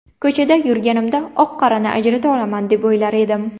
Ko‘chada yurganimda oq-qorani ajrata olaman deb o‘ylar edim.